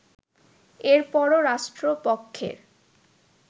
এরপরও রাষ্ট্রপক্ষের